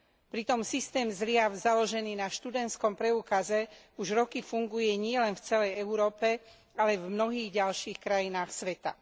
Pritom systém zliav založený na študentskom preukaze už roky funguje nielen v celej Európe, ale aj v mnohých ďalších krajinách sveta.